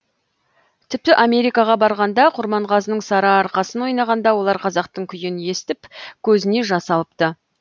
тіпті америкаға барғанда құрманғазының сарыарқасын ойнағанда олар қазақтың күйін естіп көзіне жас алыпты